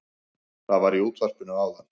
Það var í útvarpinu áðan